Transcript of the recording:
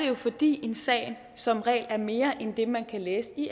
jo fordi en sag som regel er mere end det man kan læse i